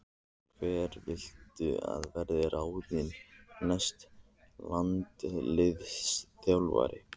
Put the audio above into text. Hver viltu að verði ráðinn næsti landsliðsþjálfari?